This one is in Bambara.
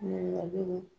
Ɲininkaliw